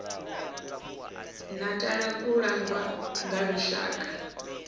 natala ku langwa nga lushaka